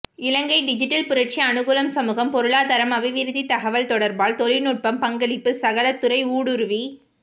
இலங்கை digital புரட்சி அனுகூலம் சமூகம் பொருளாதாரம் அபிவிருத்தி தகவல் தொடர்பாடல் தொழில்நுட்பம் பங்களிப்பு சகல துறை ஊடுருவி